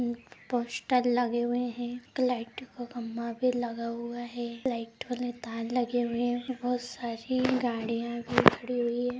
Poster लगे हुए है एक लाइट का खम्भा भी लगा हुआ है लाइट वाले तार लगे हुए है बहुत सारी गाड़ियां भी खड़ी हुई है।